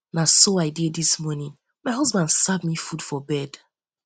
na um so i dey dis morning my husband serve me food for bed